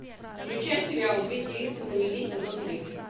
включай сериал две девицы на мели сезон три